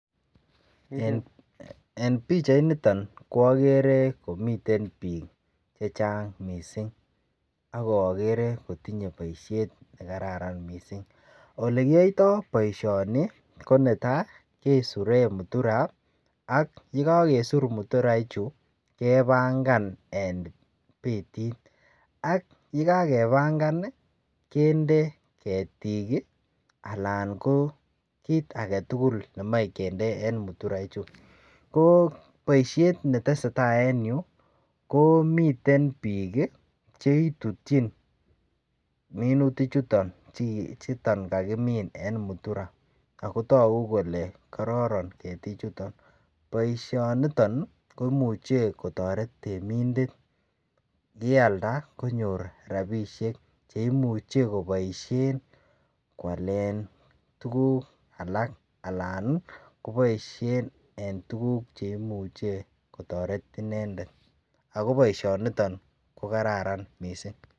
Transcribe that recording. En pichainito ko agere komiten biik che chang mising ak agere kotinye boisiet nekararan mising. Ole kiyoito boisioni koneta kesure mutura ak yekakisur mutura ichu kebangan en betit. Ye kakebangan kinde ketik anan ko kit agetugul nemoe kinde en muturaichu. Ko boisiet neteseta en yu komiten biik che itutyin minuti chuton kitutyin en mutura ago tagu kole kororon ketichuton. Boisionito koimuche kotoret temindet yealda konyor rapinik che imuche koboisien kwalen tuguk alak anan koboisien en tuguk che imuche kotaret inendet. Ago boisionito ko kararan mising.